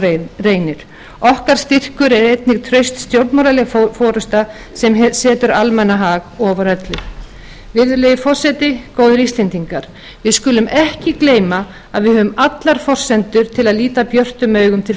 á reynir okkar styrkur er einnig traust stjórnmálaleg forusta sem setur almannahag ofar öllu virðulegi forseti góðir íslendingar við skulum ekki gleyma að við höfum allar forsendur til að líta björtum augum til